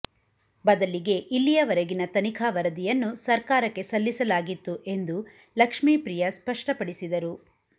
ಬದಲಿಗೆ ಇಲ್ಲಿಯವರೆಗಿನ ತನಿಖಾ ವರದಿಯನ್ನು ಸರ್ಕಾರಕ್ಕೆ ಸಲ್ಲಿಸಲಾಗಿತ್ತು ಎಂದು ಲಕ್ಷ್ಮೀಪ್ರಿಯ ಸ್ಪಷ್ಟಪಡಿಸಿದರು